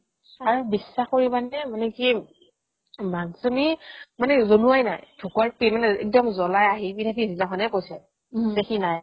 আৰু বিশ্বাস কৰিবানে মানে কি মাকজনী মানে জনোৱাই নাই ঢুকোৱাৰ একদম জ্বলাই আহি পিছদিনাখনহে কৈছে যে সি নাই